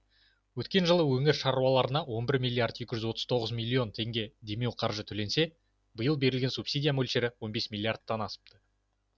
өткен жылы өңір шаруаларына он бір миллиард екі жүз тоқсан үш миллион теңге демеуқаржы төленсе биыл берілген субсидия мөлшері он бес миллиардтан асыпты